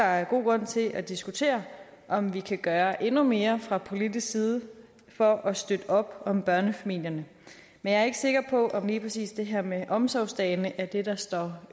er god grund til at diskutere om vi kan gøre endnu mere fra politisk side for at støtte op om børnefamilierne men jeg er ikke sikker på om lige præcis det her med omsorgsdagene er det der står